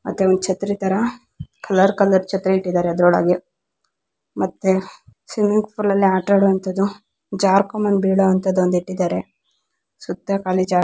ಮತ್ತೆ ಒಂದ್ ಛತ್ರಿ ತರ ಕಲರ್ ಕಲರ್ ಛತ್ರಿ ಇಟ್ಟಿದ್ದಾರೆ ಅದ್ರ ಒಳಗೆ ಮತ್ತೇ ಸ್ವಿಮ್ಮಿಂಗ್ ಪೂಲಲ್ಲಿ ಆಟ ಆಡುವಂತದ್ದು ಜಾರ್ಕೊಂಡ್ ಬಂದು ಬೀಳುವಂತದ್ದು ಒಂದ್ ಇಟ್ಟಿದ್ದಾರೆ ಸುತ್ತ ಖಾಲಿ ಜಾಗ--